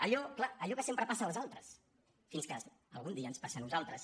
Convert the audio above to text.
allò clar que sempre passa als altres fins que algun dia ens passa a nosaltres